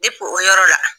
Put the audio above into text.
o yɔrɔ la